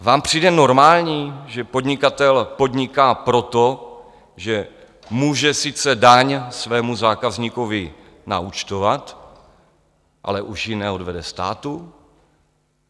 Vám přijde normální, že podnikatel podniká proto, že může sice daň svému zákazníkovi naúčtovat, ale už ji neodvede státu?